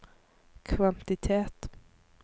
kvantitet